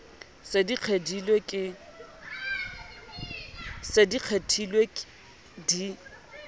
di se di kgethilwe di